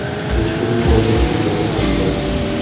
Hech kim qo‘lga tushirgani ham yo‘q.